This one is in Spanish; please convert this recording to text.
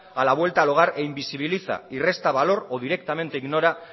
a la vuelta al hogar e invisibiliza y resta valor o directamente ignora